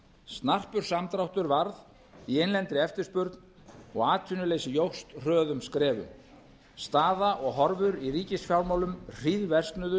snarpur samdráttur varð í innlendri eftirspurn og atvinnuleysi jókst hröðum skrefum staða og horfur í ríkisfjármálum hríðversnuðu